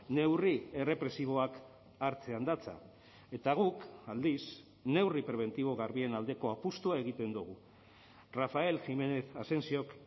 neurri errepresiboak hartzean datza eta guk aldiz neurri prebentibo garbien aldeko apustua egiten dugu rafael jiménez asensiok